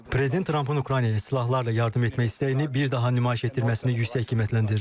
Trampın Ukraynaya silahlarla yardım etmək istəyini bir daha nümayiş etdirməsini yüksək qiymətləndirirəm.